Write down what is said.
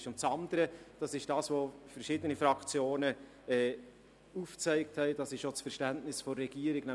Das andere ist, was verschiedene Fraktionen aufgezeigt haben, und dies entspricht auch dem Verständnis der Regierung: